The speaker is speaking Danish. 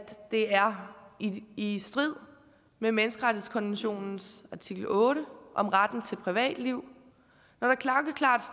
det er i strid med menneskerettighedskonventionens artikel otte om retten til privatliv